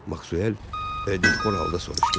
Maksvel dilxor halda soruşdu.